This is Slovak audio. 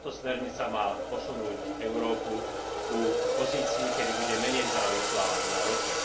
Táto smernica má posunúť Európu k pozícii, kedy bude menej závislá na rope.